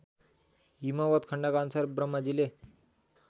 हिमवत्खण्डका अनुसार ब्रह्माजीले